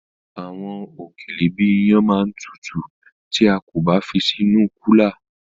Àwọn òkèlè bíi iyán ma tutù tí a kò bá fi sí inú kúlà.